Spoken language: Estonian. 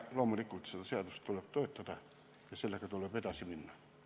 Loomulikult tuleb seda seadust toetada ja sellega edasi minna.